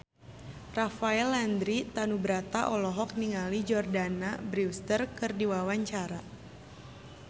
Rafael Landry Tanubrata olohok ningali Jordana Brewster keur diwawancara